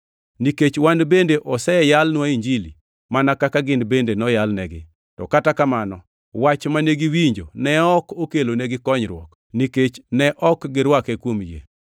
Nikech wan bende oseyalnwa Injili mana kaka gin bende noyalnegi, to kata kamano wach mane giwinjo ne ok okelonegi konyruok, nikech ne ok girwake kuom yie.